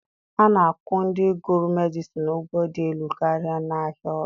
A na-akwụ ndị gụrụ Medịsịn ụgwọ dị elu karịa n'ahịa ọrụ.